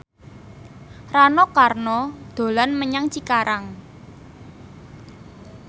Rano Karno dolan menyang Cikarang